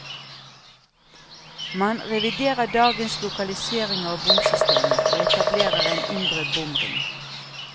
Man reviderer dagens lokalisering av bomsystemet, og etablerer en indre bomring.